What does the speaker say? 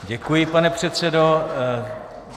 Děkuji, pane předsedo.